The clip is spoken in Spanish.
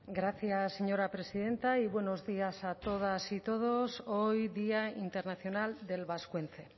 gracias señora presidenta y buenos días a todas y todos hoy día internacional del vascuence